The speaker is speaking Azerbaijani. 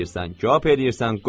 Köp eləyirsən, qoy.